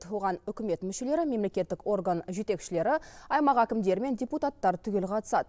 оған үкімет мүшелері мемлекеттік орган жетекшілері аймақ әкімдері мен депутаттар түгел қатысады